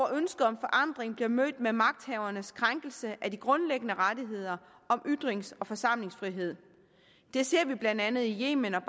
ønsket om forandring bliver mødt med magthavernes krænkelse af de grundlæggende rettigheder om ytrings og forsamlingsfrihed det ser vi blandt andet i yemen og